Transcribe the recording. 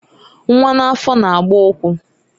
Nwa n'afọ na-agba ụkwụ